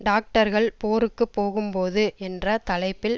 டாக்டர்கள் போருக்கு போகும் போது என்ற தலைப்பில்